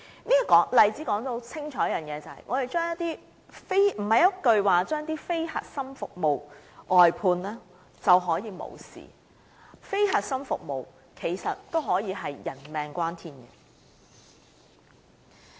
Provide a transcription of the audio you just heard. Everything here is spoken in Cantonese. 這個例子正好清楚說明，不是一句"將非核心服務外判"便可了事，非核心服務也可以是性命攸關的。